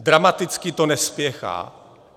Dramaticky to nespěchá.